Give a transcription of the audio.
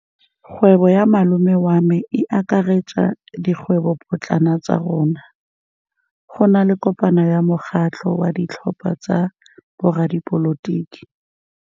Kgwêbô ya malome wa me e akaretsa dikgwêbôpotlana tsa rona. Go na le kopanô ya mokgatlhô wa ditlhopha tsa boradipolotiki.